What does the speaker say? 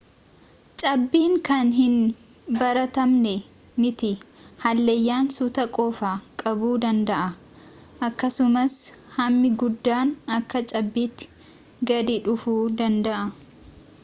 cabbiin kan hin baratamnee miti hallayyaan suutaan qofa qabuu danda'a akkasumas hammi guddaan akka cabbiitti gadi dhufuu danda'a